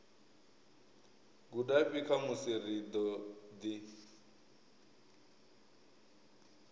gudafhi khamusi ri ḓo ḓi